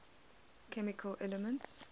chemical elements